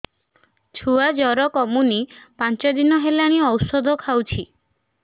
ଛୁଆ ଜର କମୁନି ପାଞ୍ଚ ଦିନ ହେଲାଣି ଔଷଧ ଖାଉଛି